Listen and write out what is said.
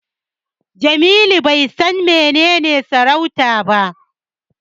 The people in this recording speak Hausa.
Jamilu bai san menene sarauta ba.